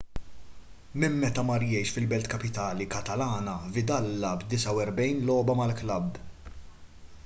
minn meta mar jgħix fil-belt kapitali katalana vidal lagħab 49 logħba mal-klabb